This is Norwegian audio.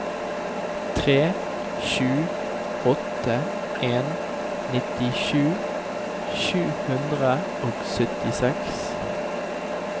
tre sju åtte en nittisju sju hundre og syttiseks